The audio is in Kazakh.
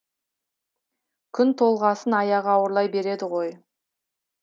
күн толғасын аяғы ауырлай береді ғой